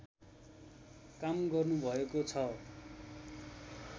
काम गर्नुभएको छ।